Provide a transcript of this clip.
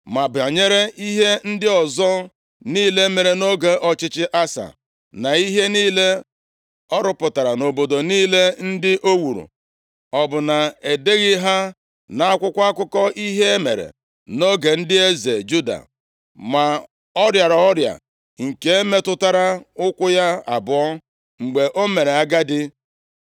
Ma banyere ihe ndị ọzọ niile mere nʼoge ọchịchị Asa, na ihe niile ọ rụpụtara na obodo niile ndị o wuru, ọ bụ na e deghị ha nʼakwụkwọ akụkọ ihe e mere nʼoge ndị eze Juda? Ma ọ rịara ọrịa nke metụtara ụkwụ ya abụọ, mgbe o mere agadi.